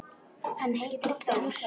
Hann heitir Þór.